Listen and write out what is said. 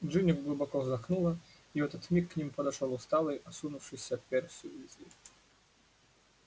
джинни глубоко вздохнула и в этот миг к ним подошёл усталый осунувшийся перси уизли